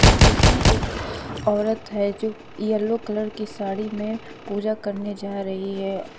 है इसमें एक औरत है जो येलो कलर की साड़ी में पूजा करने जा रही है।